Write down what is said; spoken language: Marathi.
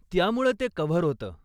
त्यामुळं ते कव्हर होतं.